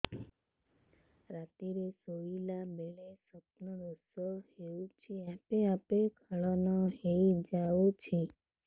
ରାତିରେ ଶୋଇଲା ବେଳେ ସ୍ବପ୍ନ ଦୋଷ ହେଉଛି ଆପେ ଆପେ ସ୍ଖଳନ ହେଇଯାଉଛି